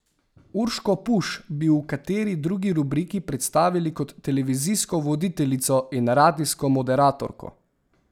Urško Puš bi v kateri drugi rubriki predstavili kot televizijsko voditeljico in radijsko moderatorko.